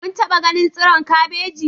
Kun taba ganin tsiron kabeji?